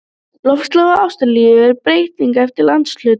Loftslag í Ástralíu er breytilegt eftir landshlutum.